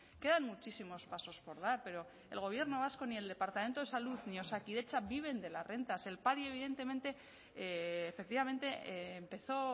quedan muchísimos pasos por dar pero ni el gobierno vasco ni el departamento de salud ni osakidetza viven de las rentas el padi evidentemente efectivamente empezó